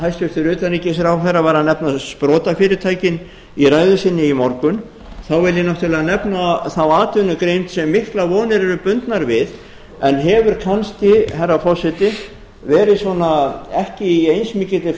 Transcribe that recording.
hæstvirtur utanríkisráðherra var að nefna sprotafyrirtækin í ræðu sinni í morgun þá verð ég náttúrlega að nefna þá atvinnugrein sem miklar vonir eru bundnar við en hefur kannski herra forseti verið svona í ekki eins mikilli